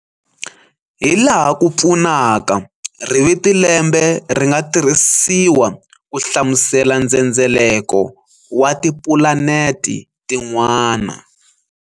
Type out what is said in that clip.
Hilaha ku fanaka, riviti lembe ri nga tirhisiwa ku hlamusela ndzhendzeleko wa ti pulaneti tin'wana.